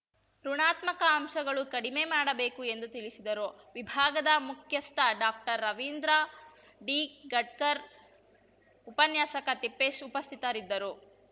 ಋುಣಾತ್ಮಕ ಅಂಶಗಳು ಕಡಿಮೆ ಮಾಡಬೇಕು ಎಂದು ತಿಳಿಸಿದರು ವಿಭಾಗದ ಮುಖ್ಯಸ್ಥ ಡಾಕ್ಟರ್ ರವೀಂದ್ರ ಡಿ ಗಡ್ಕರ್‌ ಉಪನ್ಯಾಸಕ ತಿಪ್ಪೇಶ್‌ ಉಪಸ್ಥಿತರಿದ್ದರು